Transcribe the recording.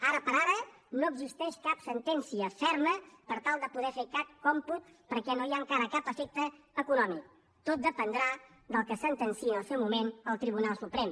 ara per ara no existeix cap sentència ferma per tal de poder fer cap còmput perquè no hi ha encara cap efecte econòmic tot dependrà del que sentenciï en el seu moment el tribunal suprem